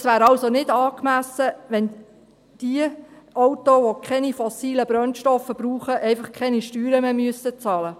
Es wäre also nicht angemessen, wenn für diejenigen Autos, die keine fossilen Brennstoffe brauchen, einfach keine Steuern mehr bezahlt werden müssten.